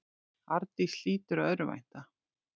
Arndís hlýtur að örvænta.